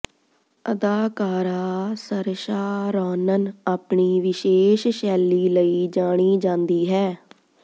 ਅਦਾਕਾਰਾ Saoirse Ronan ਆਪਣੀ ਵਿਸ਼ੇਸ਼ ਸ਼ੈਲੀ ਲਈ ਜਾਣੀ ਜਾਂਦੀ ਹੈ